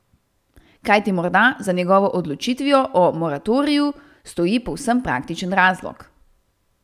Kajti morda za njegovo odločitvijo o moratoriju stoji povsem praktičen razlog.